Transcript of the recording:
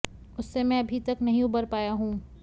उससे मैं अभी तक नहीं उबर पाया हूं